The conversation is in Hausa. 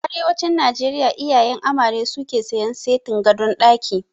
A arewacin Najeriya iyayen amare suke sayan setin gadon ɗaki